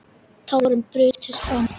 Tárin brutust fram.